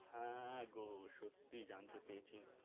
হ্যা গো সত্যি জানতে চেয়েছি.